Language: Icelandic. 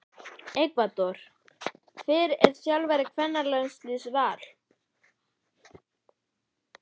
Ekvador Hver er þjálfari kvennaliðs Vals?